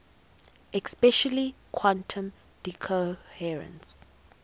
especially quantum decoherence